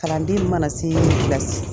Kalanden min mana se kilasi